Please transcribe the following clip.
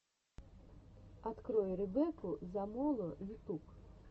открой ребекку замоло ютюб